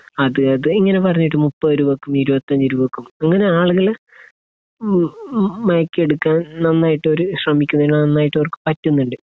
അത് ഇങ്ങനെ പറഞ്ഞിട്ട് മുപ്പത് രൂപയ്ക്കും ഇരുപത്തഞ്ച് രൂപയ്ക്കും. അങ്ങനെ ആളുകൾ, മ്ഹ് മയക്കിയെടുക്കാൻ നന്നായിട്ടവർ ശ്രമിക്കുന്നുണ്ട്. നന്നായിട്ടവർക്ക് പറ്റുന്നുണ്ട്.